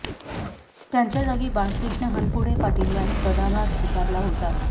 त्यांच्या जागी बाळकृष्ण हनपुडे पाटील यांनी पदभार स्वीकारला होता